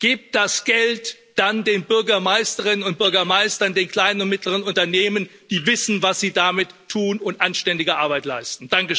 Gebt das Geld dann den Bürgermeisterinnen und Bürgermeistern, den kleinen und mittleren Unternehmen, die wissen, was sie damit tun, und anständige Arbeit leisten!